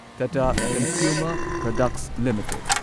Tata consumer products limited